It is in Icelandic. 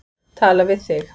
Tala við þig.